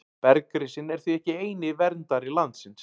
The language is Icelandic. Bergrisinn er því ekki eini verndari landsins.